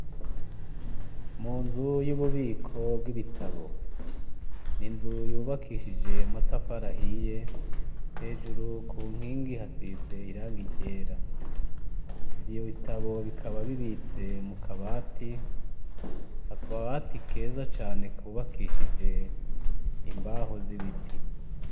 Mu nzu y'ububiko bw'ibitabo. Ni izu yubakishije amatafari ahiye hejuru ku nkingi hasize irangi ryera. Ivyo bitabo bikaba bibitse mu kabati, ako kabati keza cane kubakishishije imbaho z'ibiti.